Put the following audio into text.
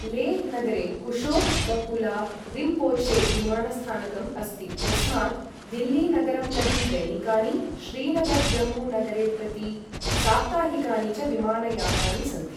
लेह् नगरे कुशोक् बकुला रिम्पोछे विमानस्थानकम् अस्ति, यस्मात् दिल्ली नगरं प्रति दैनिकानि, श्रीनगर् जम्मू नगरे प्रति साप्ताहिकानि च विमानयानानि सन्ति।